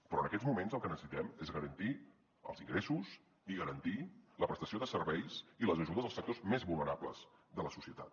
però en aquests moments el que necessitem és garantir els ingressos i garantir la prestació de serveis i les ajudes als sectors més vulnerables de la societat